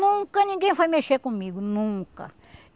Nunca ninguém foi mexer comigo, nunca.